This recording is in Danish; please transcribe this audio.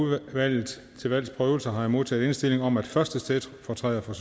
udvalget til valgs prøvelse har jeg modtaget indstilling om at første stedfortræder for